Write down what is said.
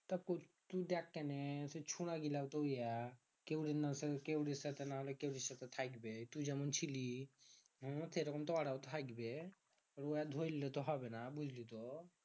তুই দেখ কেনে তুই যেমন ছিলি হম ঐরকম তো ওরাও থাইকবে ওই আর ধইরলে তো হবেনা বুঝলি তো